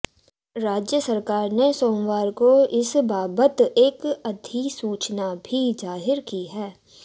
राज्य सरकार ने सोमवार को इस बाबत एक अधिसूचना भी जाहीर की है